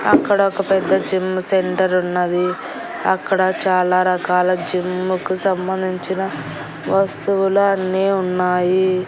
అక్కడొక పెద్ద జిమ్ సెంటరున్నది అక్కడ చాలా రకాల జిమ్ముకు సంబంధించిన వస్తువులు అన్నీ ఉన్నాయి.